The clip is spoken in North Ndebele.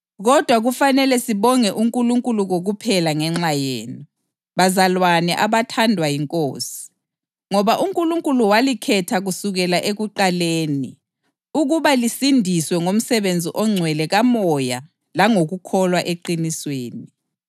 Kodwa kufanele sibonge uNkulunkulu kokuphela ngenxa yenu, bazalwane abathandwa yiNkosi, ngoba uNkulunkulu walikhetha kusukela ekuqaleni ukuba lisindiswe ngomsebenzi ongcwele kaMoya langokukholwa eqinisweni.